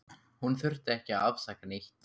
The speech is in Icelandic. Hún þurfti ekki að afsaka neitt.